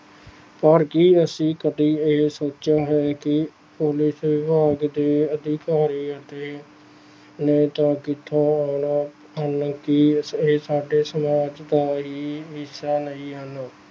ਪਰ ਕੀ ਅਸੀਂ ਕਦੇ ਇਹ ਸੋਚਿਆ ਹੈ ਕਿ ਪੁਲਿਸ ਵਿਭਾਗ ਦੇ ਅਧਿਕਾਰੀ ਅਤੇ ਨੇਤਾ ਕਿੱਥੋਂ ਆਉਣਾ ਹਨ ਕੀ ਇਸ ਇਹ ਸਾਡੇ ਸਮਾਜ ਦਾ ਹੀ ਹਿੱਸਾ ਨਹੀਂ ਹਨ।